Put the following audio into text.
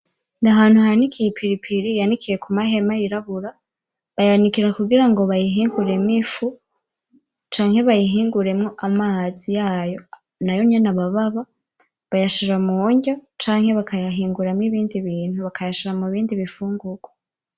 Ni ahantu hanikiye ipiripiri, yanikiye ku mahema yirabura, bayanikira kugira ngo bayihinguremwo ifu canke bayihinguremwo amazi yayo, nayo nyene aba ababa. Bayashira mu ndya canke bakayahinguramwo ibindi bintu, bakayashira mu bindi bifungurwa.